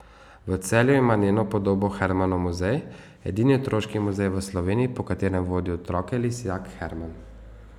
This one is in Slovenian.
V Celju ima njeno podobo Hermanov muzej, edini otroški muzej v Sloveniji, po katerem vodi otroke lisjak Herman.